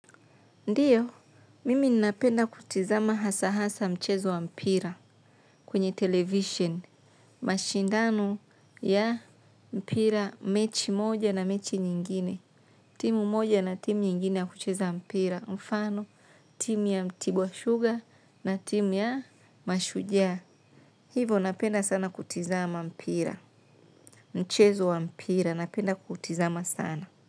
Ndiyo, mimi napenda kutizama hasa-hasa mchezo wa mpira kwenye television. Mashindano ya mpira mechi moja na mechi nyingine. Timu moja na timu nyingine ya kucheza mpira. Mfano, timu ya mtibu wa sugar na timu ya mashujaa. Hivyo napenda sana kutizama mpira. Mchezo wa mpira napenda kutizama sana.